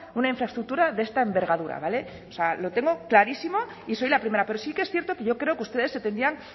una infraestructura de esta envergadura vale o sea lo tengo clarísimo y soy la primera pero sí que es cierto que yo creo que ustedes se tendrían